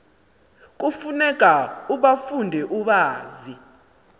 kufuneka ubafunde ubazi